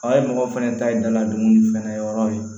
mɔgɔw fɛnɛ ta ye daladugun fɛnɛ ye yɔrɔ ye